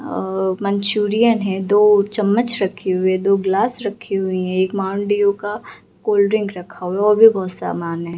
अ-अ मंचूरियन है दो चम्मच रखी हुई दो ग्लास रखी हुई हैं एक माउंटेन डीव का कोल्ड-ड्रिंक रखा हुआ और भी बोहत सामान है।